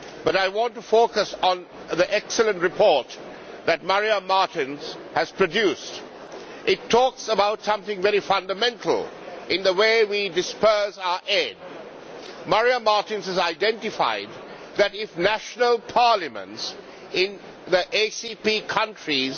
However, I want to focus on the excellent report that Maria Martens has produced. It talks about something very fundamental in the way we disburse our aid. Maria Martens has identified that, if national parliaments in the ACP countries